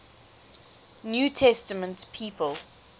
new testament people